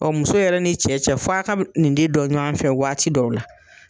muso yɛrɛ n'i cɛ cɛ f'a ka nin de dɔn ɲɔgɔn fɛ waati dɔw la.